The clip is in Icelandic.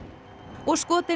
og skotinn